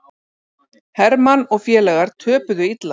Hermann og félagar töpuðu illa